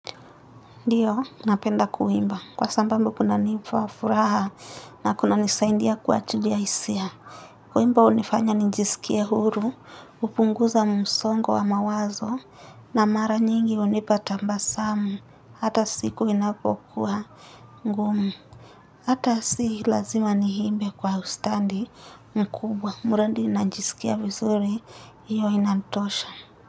Ndiyo, napenda kuimba. Kwa sabamu kunanifafuraha na kunanisaindia kuajilia hisia. Kuimba hunifanya nijisikie huru, hupunguza msongo wa mawazo na mara nyingi hunipa tabasamu. Hata siku inapokuwa ngumu. Hata si lazima niimbe kwa ustadi mkubwa. Mradi najisikia vizuri, hiyo inatosha.